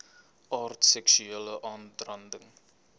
aard seksuele aanranding